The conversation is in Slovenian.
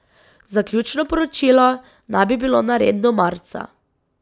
Zaključno poročilo naj bi bilo nared do marca.